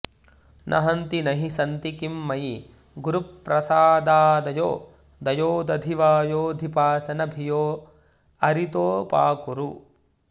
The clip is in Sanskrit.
न हन्ति न हि सन्ति किं मयि गुरुप्रसादादयो दयोदधिवयोधिपासन भियोऽरितोऽपाकुरु